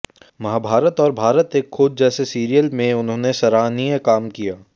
महाभारत और भारत एक खोज जैसे सीरियल में उन्होंने सराहनीय काम किया